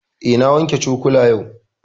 Eh, na wanke cokula yau